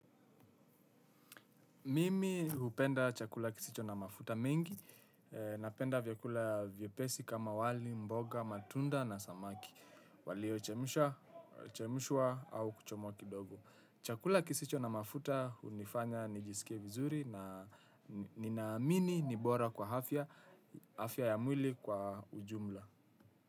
Mimi hupenda chakula kisicho na mafuta mingi, napenda vyakula vyepesi kama wali, mboga, matunda na samaki. Walio chemshwa au kuchomwa kidogo. Chakula kisicho na mafuta hunifanya nijisikie vizuri na nina amini ni bora kwa afya, afya ya mwili kwa ujumla.